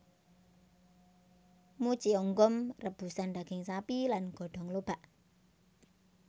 Mucheonggom rebusan daging sapi lan godong lobak